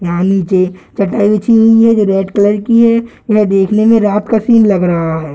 यहाँ नीचे चटाई बची हुई है जो रेड कलर की है यह देखने में रात का सीन लग रहा है।